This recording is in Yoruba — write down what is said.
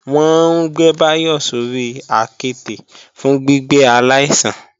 Wọ́n ń gbé Báyọ̀ sórí àketè fún gbígbé aláìsàn